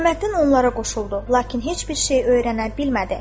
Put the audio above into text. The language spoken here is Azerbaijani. Hüsamməddin onlara qoşuldu, lakin heç bir şey öyrənə bilmədi.